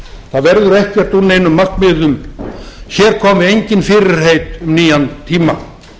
það verður ekkert úr neinum markmiðum hér koma engin fyrirheit um nýjan tíma